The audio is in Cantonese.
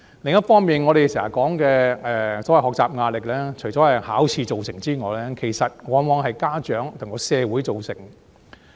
另一方面，我們經常說的學習壓力，除了是考試造成之外，往往亦由家長和社會造成。